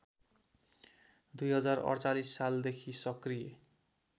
२०४८ सालदेखि सक्रिय